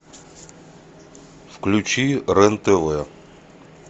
включи рен тв